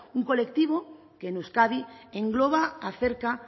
un colectivo que en euskadi engloba a cerca